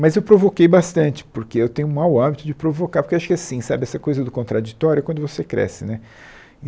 Mas eu provoquei bastante, porque eu tenho um mau hábito de provocar, porque eu acho que é assim, sabe, essa coisa do contraditório é quando você cresce né.